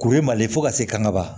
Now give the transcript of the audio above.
Kuru ye mali ye fo ka se kan ga ba